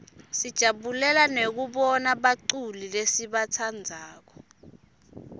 sijabulela nekubana buculi lesibatsandzako